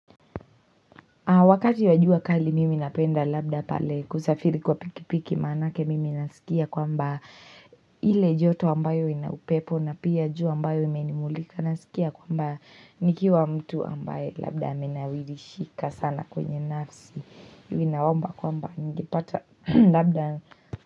Wakati wa jua kali mimi napenda labda pale kusafiri kwa pikipiki manake mimi nasikia kwamba ile joto ambayo inaupepo na pia jua ambayo imenimulika naskia kwamba nikiwa mtu ambaye labda amenawirishika sana kwenye nafsi. Hivi nawaomba kwamba nikipata labda.